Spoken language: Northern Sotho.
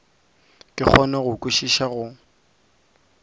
ke kgone go kwešiša go